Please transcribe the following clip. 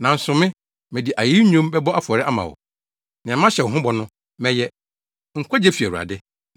Nanso me, mede ayeyi nnwom bɛbɔ afɔre ama wo. Nea mahyɛ ho bɔ no, mɛyɛ. Nkwagye fi Awurade.”